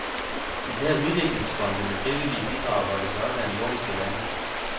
Især udviklingsfonde med frivillige bidrag holdes oppe af nordiske lande.